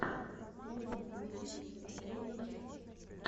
лорен куртис последняя часть